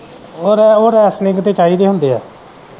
ਔਰ ਉਹ ਰੈਸ਼ਲਿੰਗ ਤੇ ਚਾਹੀਦੇ ਹੁੰਦੇ ਐ।